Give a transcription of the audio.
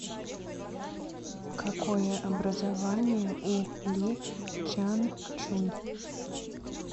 какое образование у ли чанчунь